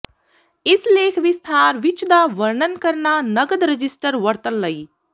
ਇਸ ਲੇਖ ਵਿਸਥਾਰ ਵਿੱਚ ਦਾ ਵਰਣਨ ਕਰਨਾ ਨਕਦ ਰਜਿਸਟਰ ਵਰਤਣ ਲਈ